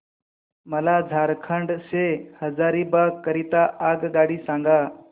मला झारखंड से हजारीबाग करीता आगगाडी सांगा